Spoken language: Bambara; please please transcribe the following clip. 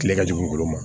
Kile ka jugu olu ma